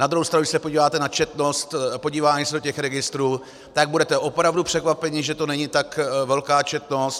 Na druhou stranu když se podíváte na četnost podívání se do těch registrů, tak budete opravdu překvapeni, že to není tak velká četnost.